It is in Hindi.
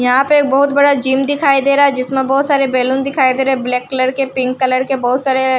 यहां पे एक बहुत बड़ा जिम दिखाई दे रहा है जिसमें बहुत सारे बैलून दिखाएं दे ब्लैक कलर के पिंक कलर के बहुत सारे--